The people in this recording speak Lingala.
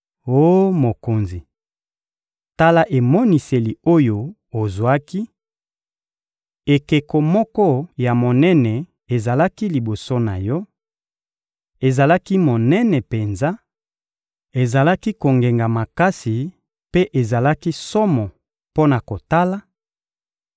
Oh mokonzi, tala emoniseli oyo ozwaki: ‹Ekeko moko ya monene ezalaki liboso na yo: ezalaki monene penza, ezalaki kongenga makasi mpe ezalaki somo mpo na kotala;